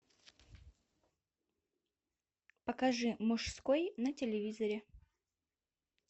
покажи мужской на телевизоре